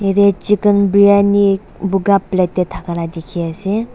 de chicken briyani buka plate tey thaka la dikhi ase.